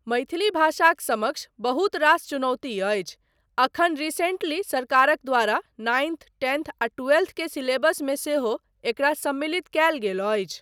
मैथिली भाषाक समक्ष बहुत रास चुनौती अछि, एखन रिसेंटली सरकारक द्वारा नाइन्थ, टेंथ आ ट्वेल्थ के सिलेबसमे सेहो एकरा सम्मिलित कयल गेल अछि।